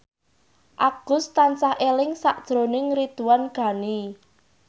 Agus tansah eling sakjroning Ridwan Ghani